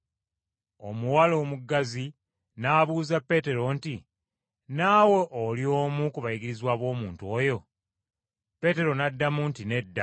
Omuwala omuggazi n’abuuza Peetero nti, “Naawe oli omu ku bayigirizwa b’omuntu oyo?” Peetero n’addamu nti, “Nedda.”